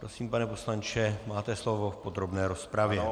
Prosím, pane poslanče, máte slovo v podrobné rozpravě.